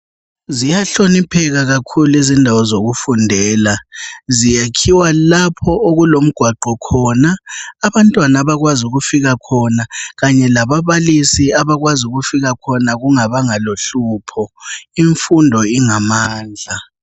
Ziyahlonipheka kakhulu izindawo zokufundela ,zakhiwa lapho okulemigwaqo khona abantwana abakwazi ukufika khona, kanye lababalisi abakwazi ukufika khona kungabanga lohlupho. Imfundo ingamandla.